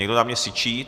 Někdo na mě syčí.